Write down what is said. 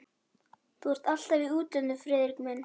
Og þú ert alltaf í útlöndum, Friðrik minn